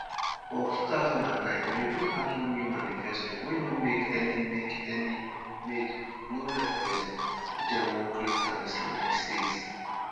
for 2009 dem bin bring out one new manifesto wey no make any make any made no reference say dem wan create an islamic state.